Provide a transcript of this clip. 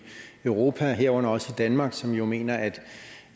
europa herunder også i danmark som jo mener at